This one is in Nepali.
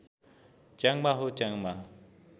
च्याङ्बा हो च्याङ्बा